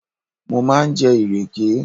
Mo máa ń jẹ ìrèké